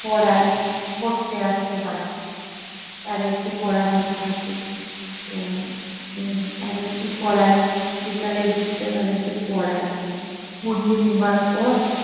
পড়াই, পড়তে আসে বাড়িতে। তাদেরকে পড়ানোর থাকে। তো উম তাদেরকে পড়াই, বিকালের দিকটা তাদেরকে পড়াই। পড়িয়ে নেবার পর